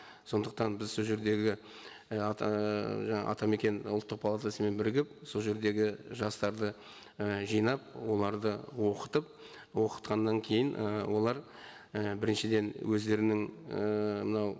сондықтан біз сол жердегі атамекен ұлттық палатасымен бірігіп сол жердегі жастарды і жинап оларды оқытып оқытқаннан кейін ы олар і біріншіден өздерінің ііі мынау